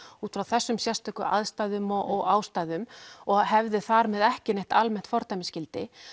út frá þessum sérstöku aðstæðum og aðstæðum og hefði þar með ekkert almennt fordæmisgildi